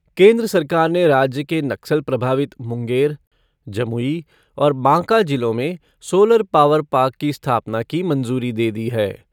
केन्द्र सरकार ने राज्य के नक्सल प्रभावित मुंगेर, जमुई और बाँका जिलों में सोलर पावर पार्क की स्थापना की मंजूरी दे दी है।